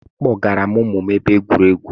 Akpọgara m ụmụ m ebe egwuregwu